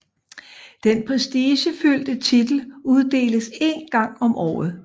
Den prestigefyldte titel uddeles én gang om året